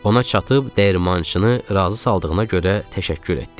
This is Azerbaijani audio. Ona çatıb dəyirmançını razı saldığına görə təşəkkür etdik.